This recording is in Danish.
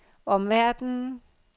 omverdenen